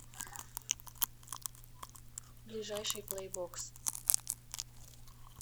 ближайший плэйбокс